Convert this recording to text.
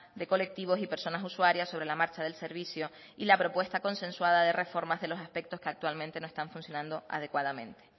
de colectivos y personas usuarias sobre la marcha del servicio y la propuesta consensuada de reformas de los aspectos que actualmente no están funcionando adecuadamente